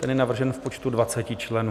Ten je navržen v počtu 20 členů.